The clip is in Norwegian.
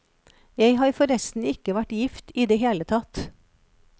Jeg har forresten ikke vært gift i det hele tatt.